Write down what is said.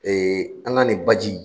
Ee an ka nin baji